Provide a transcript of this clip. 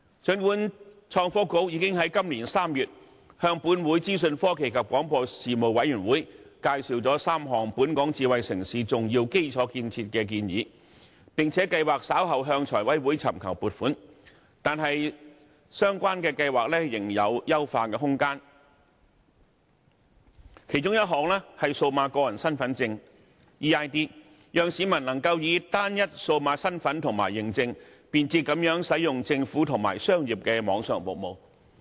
儘管創新及科技局已經在今年3月向本會的資訊科技及廣播事務委員會介紹了3項本港智慧城市重要基礎建設的建議，並計劃稍後向財務委員會尋求撥款，但相關的計劃仍有優化空間，其中一項是數碼個人身份證，讓市民能夠以單一數碼身份及認證，便捷地使用政府及商業的網上服務。